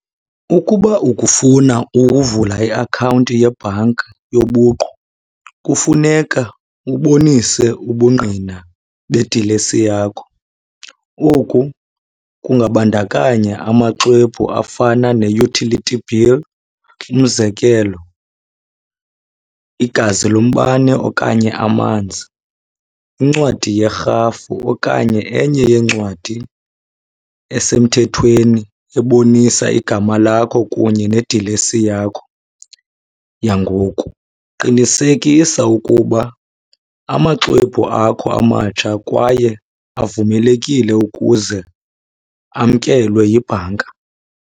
Ukuba ukufuna ukuvula iakhawunti yebhanki yobuqu kufuneka ubonise ubungqina bedilesi yakho. Oku kungabandakanya amaxwebhu afana ne-utility bill. Umzekelo, igazi lombane okanye amanzi, incwadi yerhafu okanye enye yeencwadi esemthethweni ebonisa igama lakho kunye nedilesi yakho yangoku. Qinisekisa ukuba amaxwebhu akho amatsha kwaye avumelekile ukuze amkelwe yibhanka.